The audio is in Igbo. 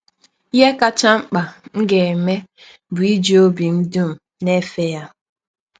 Ihe kacha mkpa m ga - eme bụ iji ọbi m dụm na - efe ya. ”